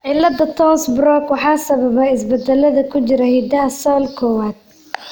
cilada Townes Brocks waxaa sababa isbeddellada ku jira hiddaha SALL kowaad.